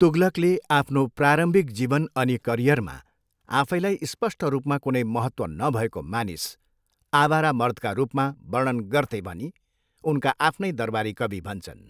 तुगलकले आफ्नो प्रारम्भिक जीवन अनि करियरमा आफैलाई स्पष्ट रूपमा कुनै महत्त्व नभएको मानिस, आवारा मर्दका रूपमा वर्णन गर्थे भनी उनका आफ्नै दरबारी कवि भन्छन्।